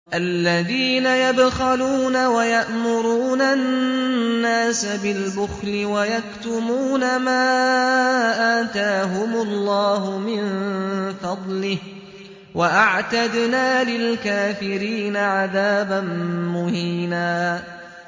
الَّذِينَ يَبْخَلُونَ وَيَأْمُرُونَ النَّاسَ بِالْبُخْلِ وَيَكْتُمُونَ مَا آتَاهُمُ اللَّهُ مِن فَضْلِهِ ۗ وَأَعْتَدْنَا لِلْكَافِرِينَ عَذَابًا مُّهِينًا